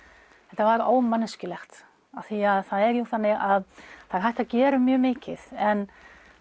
þetta var ómanneskjulegt af því að það er jú þannig að það er hægt að gera mjög mikið en